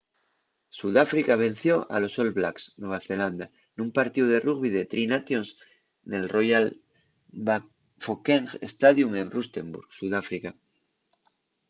sudáfrica venció a los all blacks nueva zelanda nun partíu de rugbi de tri nations nel royal bafokeng stadium en rustenburg sudáfrica